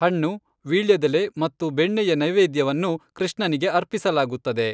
ಹಣ್ಣು, ವೀಳ್ಯದೆಲೆ ಮತ್ತು ಬೆಣ್ಣೆಯ ನೈವೇದ್ಯವನ್ನು ಕೃಷ್ಣನಿಗೆ ಅರ್ಪಿಸಲಾಗುತ್ತದೆ.